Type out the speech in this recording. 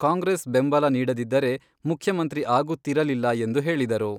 ಕಾಂಗ್ರೆಸ್ ಬೆಂಬಲ ನೀಡದಿದ್ದರೆ ಮುಖ್ಯಮಂತ್ರಿ ಆಗುತ್ತಿರಲಿಲ್ಲ ಎಂದು ಹೇಳಿದರು.